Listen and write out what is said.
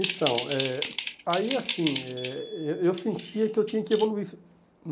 Então, eh aí assim, eh e eu sentia que eu tinha que evoluir.